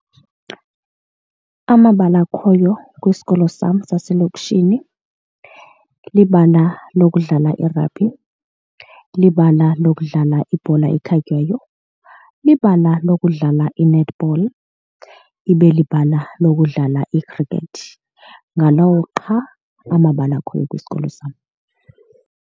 Amabala akhoyo kwisikolo sam saselokishini libala lokudlala irabhi, libala lokudlala ibhola ekhatywayo libala lokudlala i-netball, ibe libala lokudlala ikhrikethi. Ngalawo qha amabala akhoyo kwisikolo sam.